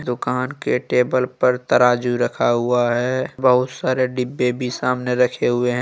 दुकान के टेबल पर तराजू रखा हुआ है। बहुत सारे डिब्बे भी सामने रखे हुए ह--